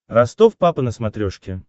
ростов папа на смотрешке